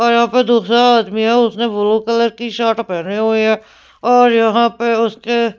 और यहाँ पे दूसरा आदमी है उसने ब्लू कलर की शर्ट पहनी हुई है और यहाँ पे उसके --